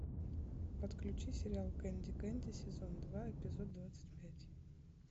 подключи сериал кенди кенди сезон два эпизод двадцать пять